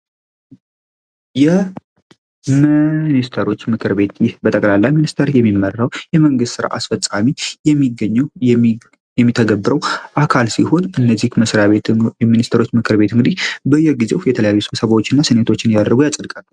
ሚኒስትሮች ምክር ቤት በጠቅላላ ሚኒስተር የሚመራው የጠቅላላ የመንግስት ስራ አስፈጻሚ የሚገኘው የሚተገበረው አካል ሲሆን እነዚህ መስሪያ ቤት የሚኒስትሮች ምክር ቤት እንግዲህ በየጊዜው የተለያዩ ስብሰባዎችና ሰነዶች አድርጎ ያጽድቃል።